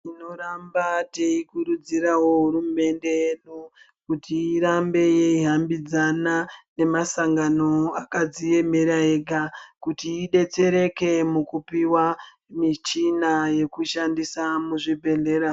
Tinotamba teikurudzirawo hurumende yedu, kuti irambe yeihambidzana, nemasangano akadziemera ega, kuti idetsereke mukupiwa ,michina yekushandisa muzvibhedhlera.